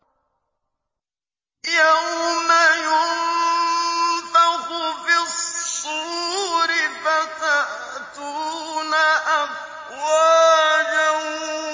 يَوْمَ يُنفَخُ فِي الصُّورِ فَتَأْتُونَ أَفْوَاجًا